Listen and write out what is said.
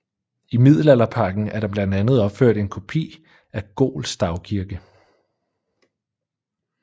I Middelalderparken er der blandt andet opført en kopi af Gol stavkirke